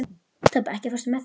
Tobbi, ekki fórstu með þeim?